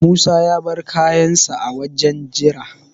Musa ya bar kayansa a wajen jira.